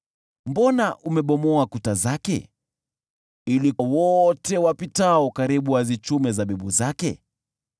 Mbona umebomoa kuta zake ili wote wapitao karibu wazichume zabibu zake?